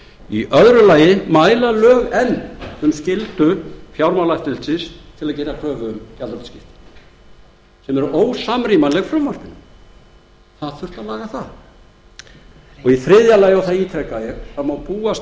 í öðru lagi mæla lög enn um skyldu fjármálaeftirlitsins til að gera kröfu um gjaldþrotaskipti sem eru ósamrýmanleg frumvarpinu það þurfti að laga það og í þriðja lagi og það ítreka ég það má búast